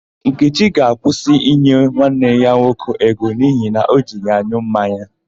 Nkechi ga-akwụsị inye nwanne ya nwoke ego n'ihi na o ji ya an̄ụ mmanya.